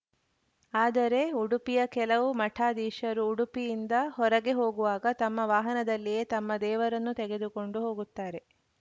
ಆದರೆ ಉಡುಪಿಯ ಕೆಲವು ಮಠಾಧೀಶರು ಉಡುಪಿಯಿಂದ ಹೊರಗೆ ಹೋಗುವಾಗ ತಮ್ಮ ವಾಹನದಲ್ಲಿಯೇ ತಮ್ಮ ದೇವರನ್ನೂ ತೆಗೆದುಕೊಂಡು ಹೋಗುತ್ತಾರೆ